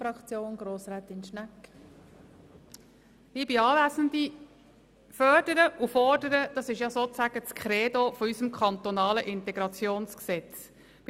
Fördern und fordern, das ist sozusagen das Credo des kantonalen Integrationsgesetzes (IntG).